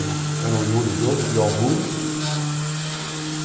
Era uma oriunda de augures.